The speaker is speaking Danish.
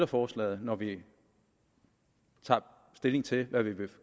forslaget når vi tager stilling til hvad vi vil